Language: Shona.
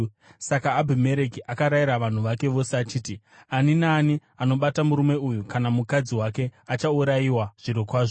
Saka Abhimereki akarayira vanhu vake vose achiti, “Ani naani anobata murume uyu kana mukadzi wake achaurayiwa zvirokwazvo.”